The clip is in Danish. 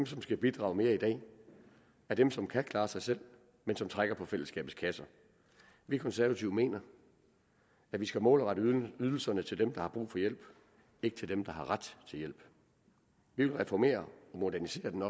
som skal bidrage mere i dag er dem som kan klare sig selv men som trækker på fællesskabets kasser vi konservative mener at vi skal målrette ydelserne til dem der har brug for hjælp ikke til dem der har ret til hjælp vi vil reformere og modernisere den